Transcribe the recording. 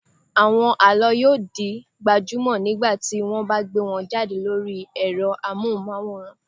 Àwọn àlọ́ yóò di gbajúmọ̀ nígbà tí wọ́n bá gbé wọn jáde lórí ẹ̀rọ amóhùnmáwòrán.